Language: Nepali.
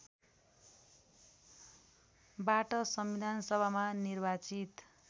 बाट संविधानसभामा निर्वाचित